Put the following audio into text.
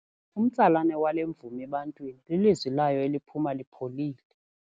Umtsalane wale mvumi ebantwini lilizwi layo eliphuma lipholile.